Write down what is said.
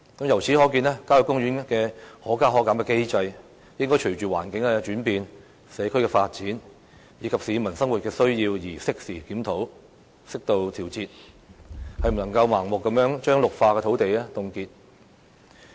由此可見，郊野公園的"可加可減"機制應該隨着環境轉變、社區發展，以及市民生活需要而適時檢討，適度調節，不能夠再盲目地將綠化土地凍結。